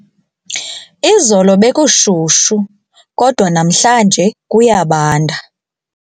Izolo bekushushu kodwa namhlanje kuyabanda.